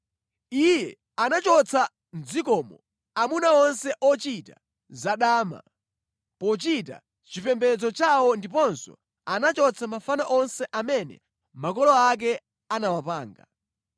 Iye anachotsa mʼdzikomo amuna onse ochita zadama pochita chipembedzo chawo ndiponso anachotsa mafano onse amene makolo ake anawapanga.